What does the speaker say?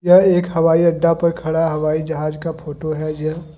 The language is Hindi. यह एक हवाई अड्डा पर खड़ा हवाई जहाज का फोटो है।